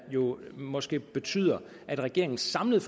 måske betyder at regeringens samlede